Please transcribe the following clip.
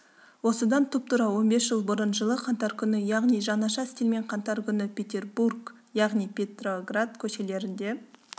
осыдан тұп-тура он бес жыл бұрын жылы қаңтар күні яғни жаңаша стильмен қантар күні петербург яғни петроград көшелерінде